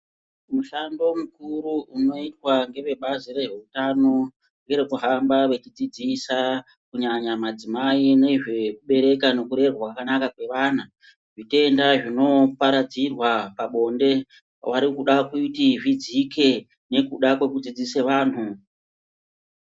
Mushando mukuru unoitwa ngevebazi reutano, ngere kuhamba vechidzidzisa kunyanya madzimai nezvekubereka nekurerwa kwakanaka kwevana. Zvitenda zvinoparadzirwa pabonde vari kuda kuti zvidzike nokuda kwokudzidzisa vanhu.